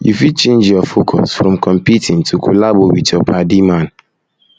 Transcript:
you fit change your focus from competing to collabo with your padi man